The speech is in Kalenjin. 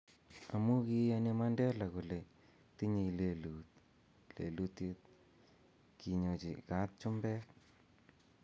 Amu kiyaani Mandela kole tinyei lelut lelutie, kinyochi kaat chumbek